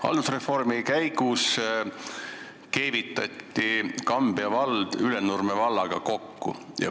Haldusreformi käigus keevitati Kambja vald Ülenurme vallaga kokku.